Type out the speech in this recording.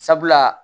Sabula